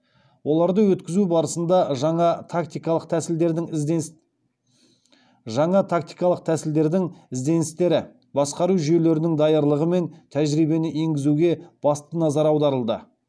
оларды өткізу барысында жаңа тактикалық тәсілдердің ізденістері басқару жүйелерінің даярлығы мен тәжірибені енгізуге басты назар аударылды